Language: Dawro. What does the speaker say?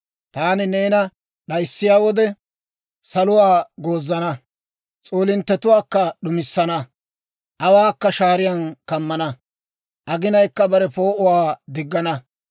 Taani neena d'ayissiyaa wode, saluwaa goozana; s'oolinttetuwaakka d'umissana; awaakka shaariyaan kammana; aginayikka bare poo'uwaa diggana.